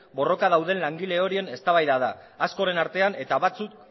borrokan dauden langile horien eztabaida da askoren artean eta batzuk